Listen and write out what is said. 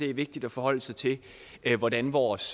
er vigtigt at forholde sig til hvordan vores